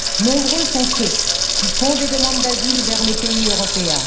Nombreux sont ceux qui font des demandes d'asile vers les pays européens.